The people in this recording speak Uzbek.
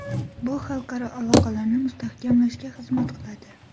Bu xalqaro aloqalarni mustahkamlashga xizmat qiladi.